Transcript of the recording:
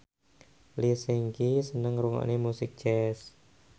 Lee Seung Gi seneng ngrungokne musik jazz